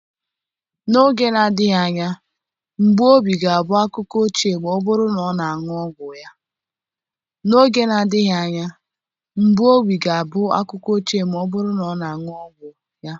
N'oge na-adịghị anya mgbu obi ga-abụ akụkọ ochie ma ọ bụrụ na ọ na-aṅụ ọgwụ ya